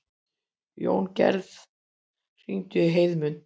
Jóngerð, hringdu í Heiðmund.